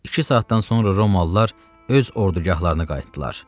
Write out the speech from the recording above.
İki saatdan sonra romalılar öz ordugahlarına qayıtdılar.